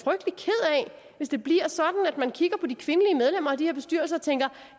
hvis det bliver sådan at man kigger på de kvindelige medlemmer af de her bestyrelser og tænker